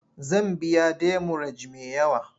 Zan biya demurej me yawa.